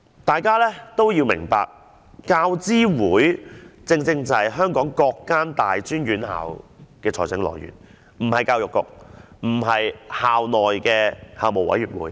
大家要明白，教資會就是負責安排香港各大專院校的財政來源的機構，不是教育局，不是校內的校務委員會。